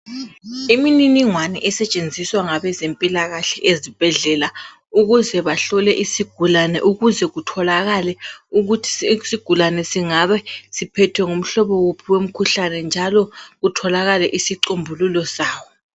Imininingwana esetshenziswa ngabezempilakhahle ezibhedlela ukuze bahlole isigulane ukuze kutholakale ukuthi isigulane singabe siphethwe ngumhlobo wuphi womkhuhlane njalo kutholakale isicombululo sawo.